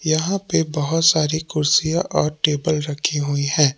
यहां पे बहुत सारी कुर्सियां और टेबल रखी हुई हैं।